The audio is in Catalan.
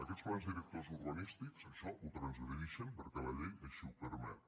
aquest plans directors urbanístics això ho transgredixen perquè llei així ho permet